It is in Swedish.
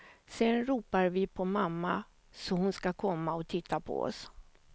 Sen ropar vi på mamma, så hon ska komma och titta på oss.